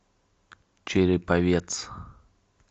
череповец